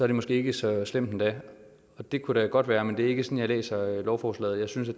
det måske ikke så slemt endda det kunne da godt være men det er ikke sådan jeg læser lovforslaget jeg synes at